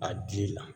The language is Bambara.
A dili la